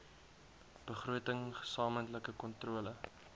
begroting gesamentlike kontrole